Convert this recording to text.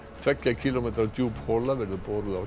tveggja kílómetra djúp hola verður boruð á